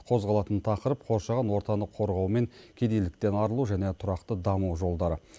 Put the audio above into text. қозғалатын тақырып қоршаған ортаны қорғау мен кедейліктен арылу және тұрақты даму жолдары